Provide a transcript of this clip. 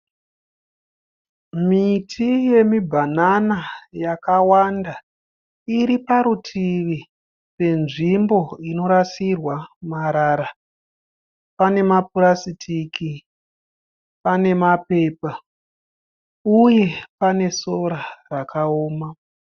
Miti yemibhanana yakawanda iriparutivi penzvimbo inorasirwa marara. Pane mapurasitiku pane mapepa uye panesora rakaoma.